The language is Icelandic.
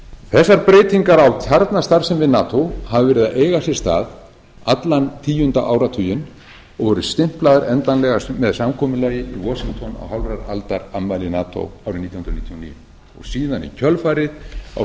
þessar breytingar á kjarnastarfsemi nato hafa verið að eiga sér stað allan tíunda áratuginn og voru stimplaðar endanlega með samkomulagi í washington á hálfrar aldar afmæli nato árið nítján hundruð níutíu og níu og síðan